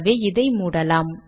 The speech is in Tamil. ஆகவே இதை மூடலாம்